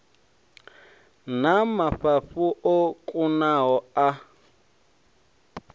na mafhafhu o kunaho a